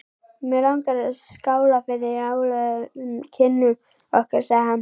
Mig langar að skála fyrir áralöngum kynnum okkar sagði hann.